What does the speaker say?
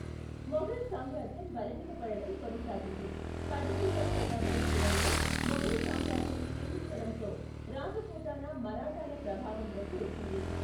మొఘల్ సామ్రాజ్యం బలహీనపడటం కొనసాగింది, పద్దెనిమిదవ శతాబ్దం చివరలో మొఘల్ సామ్రాజ్యం క్షీణించడంతో, రాజపూతానా మరాఠాల ప్రభావంలోకి వచ్చింది.